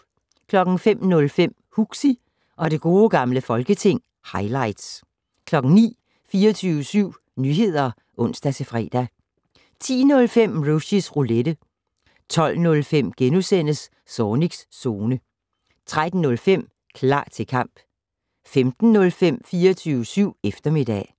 05:05: Huxi og det gode gamle folketing - highlights 09:00: 24syv Nyheder (ons-fre) 10:05: Rushys Roulette 12:05: Zornigs Zone * 13:05: Klar til kamp 15:05: 24syv eftermiddag